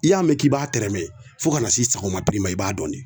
I y'a mɛn k'i b'a tɛrɛmɛ fo ka na se sago na piri ma i b'a dɔn ne